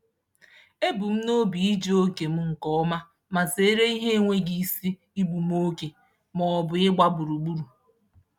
Ebu m n'obi iji oge m nke ọma ma zeere ihe enweghị isi igbu m oge maọbụ ịgba gburugburu.